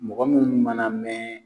Mɔgɔ mun mana mɛn